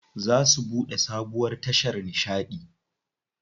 Za su buɗe sabuwar tashar nishaɗi.